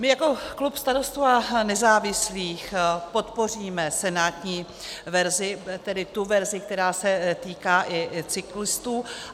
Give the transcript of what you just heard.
My jako klub Starostů a nezávislých podpoříme senátní verzi, tedy tu verzi, která se týká i cyklistů.